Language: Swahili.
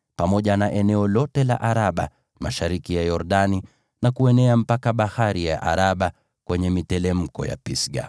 pamoja na eneo lote la Araba mashariki ya Yordani, na kuenea mpaka Bahari ya Araba kwenye miteremko ya Pisga.